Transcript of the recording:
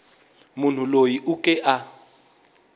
munhu loyi u ke a